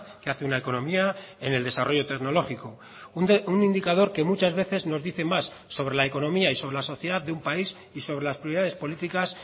que hace una economía en el desarrollo tecnológico un indicador que muchas veces nos dice más sobre la economía y sobre la sociedad de un país y sobre las prioridades políticas